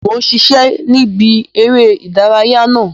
Mo n ṣiṣẹ ni ìbí eré ìdárayá náà.